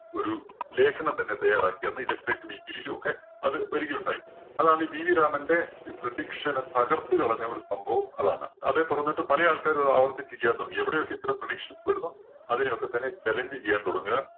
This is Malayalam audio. ലേഖനം തന്നെ തയ്യാറാക്കി. അന്ന് weekly യിലൊക്കെ അത് വരികയുണ്ടായി. അതാണ് BV രാമന്റെ prediction ഏ തകർത്തു കളഞ്ഞ ഒരു സംഭവം അതാണ്. അതെ തുടര്‍ന്നിട്ട് പല ആൾക്കാരും അത് ആവർത്തിച്ച് ചെയ്യാൻ തുടങ്ങി. എവിടെയൊക്കെ ഇത്തരം predictions വരുന്നോ അതിനെ ഒക്കെ തന്നെ challenge ചെയ്യാൻ തുടങ്ങുക